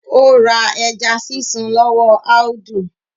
Ó ra ẹja sísun lọ́wọ́ Audu